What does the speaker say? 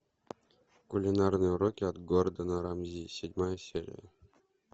кулинарные уроки от гордона рамзи седьмая серия